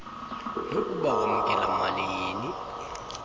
nokuba wamkela malini